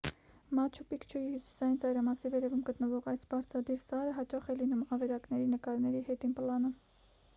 մաչու պիկչուի հյուսիսային ծայրամասի վերևում գտնվող այս բարձրադիր սարը հաճախ է լինում ավերակների նկարների հետին պլանում